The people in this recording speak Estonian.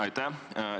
Aitäh!